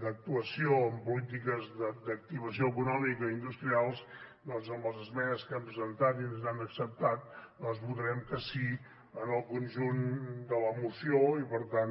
d’actuació amb polítiques d’activació econòmica i industrials doncs amb les esmenes que hem presentat i ens han acceptat doncs votarem que sí en el conjunt de la moció i per tant